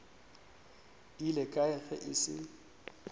ile kae ge e se